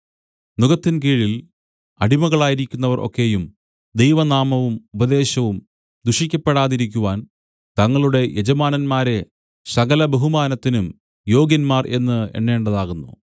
നുകത്തിൻകീഴിൽ അടിമകളായിരിക്കുന്നവർ ഒക്കെയും ദൈവനാമവും ഉപദേശവും ദുഷിക്കപ്പെടാതിരിക്കുവാൻ തങ്ങളുടെ യജമാനന്മാരെ സകലബഹുമാനത്തിനും യോഗ്യന്മാർ എന്ന് എണ്ണേണ്ടതാകുന്നു